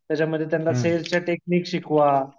त्याच्यामध्ये त्यांना सेल्सच्या टेक्निक शिकवा.